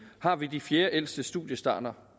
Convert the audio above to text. har vi de fjerdeældste studiestart